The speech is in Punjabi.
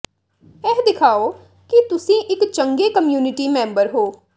ਇਹ ਦਿਖਾਓ ਕਿ ਤੁਸੀਂ ਇੱਕ ਚੰਗੇ ਕਮਿਊਨਿਟੀ ਮੈਂਬਰ ਹੋ